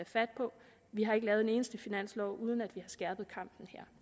fat på vi har ikke lavet en eneste finanslov uden at skærpe kampen her